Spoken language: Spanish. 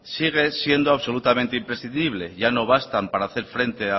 sigue siendo absolutamente imprescindible ya no bastan para hacer frente